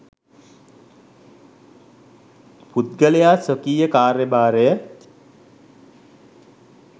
පුද්ගලයා ස්වකීය කාර්ය භාරය